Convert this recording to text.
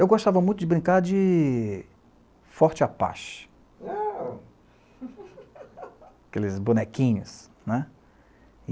Eu gostava muito de brincar de Forte Apache, (murmurio surpreso) aqueles bonequinhos, né.